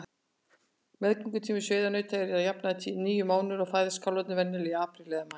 Meðgöngutími sauðnauta er að jafnaði níu mánuðir og fæðast kálfarnir venjulega í apríl eða maí.